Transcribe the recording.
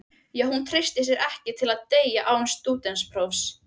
Já, hún treystir sér ekki til að deyja án stúdentsprófs.